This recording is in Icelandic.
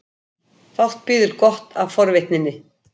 Fátt bíður gott af forvitninni.